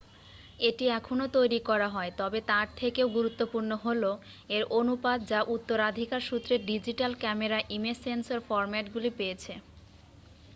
এটি এখনও তৈরি করা হয় তবে তার থেকেও গুরুত্বপূর্ণ হল এর অনুপাত যা উত্তরাধিকার সূত্রে ডিজিটাল ক্যামেরা ইমেজ সেন্সর ফরম্যাটগুলি পেয়েছে